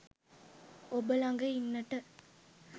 ඔබ ළඟ ඉන්නට